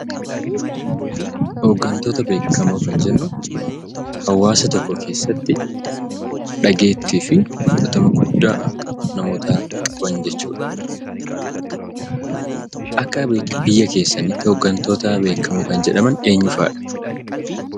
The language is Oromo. Hoggantoota beekamoo kan jennu hawaasa tokko keessatti dhageetti fi murtoo guddaa namoota qabaan jechuudha. Akka biyyaa keessanitti hoggantoota beekamoo kan jedhamaan eenyuu fa'aadha?